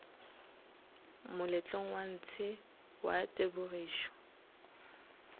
moletlong wa ntshe wa tebogišo